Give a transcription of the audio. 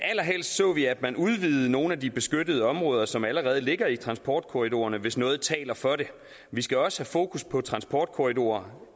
så vi at man udvidede nogle af de beskyttede områder som allerede ligger i transportkorridorerne hvis noget taler for det vi skal også have fokus på at transportkorridorer